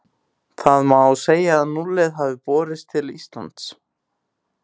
Þá má segja að núllið hafi borist til Íslands.